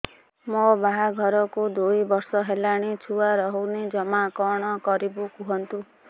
ମୋ ବାହାଘରକୁ ଦୁଇ ବର୍ଷ ହେଲାଣି ଛୁଆ ରହୁନି ଜମା କଣ କରିବୁ କୁହନ୍ତୁ